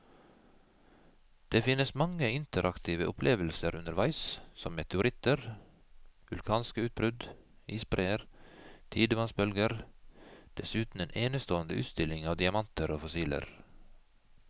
Det finnes mange interaktive opplevelser underveis som meteoritter, vulkanske utbrudd, isbreer, tidevannsbølger, dessuten en enestående utstilling av diamanter og fossiler.